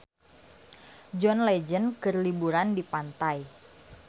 John Legend keur liburan di pantai